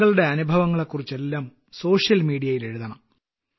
താങ്കളുടെ അനുഭവങ്ങളെക്കുറിച്ചെല്ലാം social media യിൽ എഴുതണം